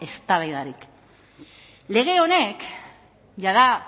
eztabaidarik lege honek jada